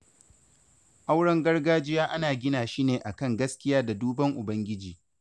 Auren gargajiya ana gina shi ne akan gaskiya da duban ubangiji.